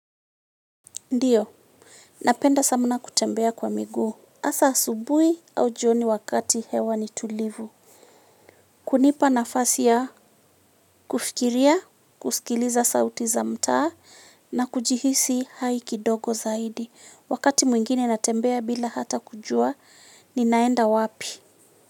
Ndiyo, napenda samna kutembea kwa miguu. Asa asubui au jioni wakati hewa ni tulivu. Kunipa nafasi ya kufikiria, kusikiliza sauti za mtaa na kujihisi hai kidogo zaidi. Wakati mwingine natembea bila hata kujua, ninaenda wapi?